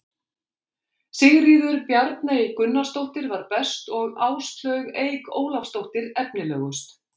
Sigríður Bjarney Gunnarsdóttir var best og Áslaug Eik Ólafsdóttir efnilegust.